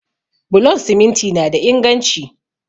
Bulon siminti na da inganci